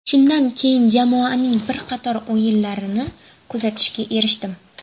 Shundan keyin jamoaning bir qator o‘yinlarini kuzatishga erishdim.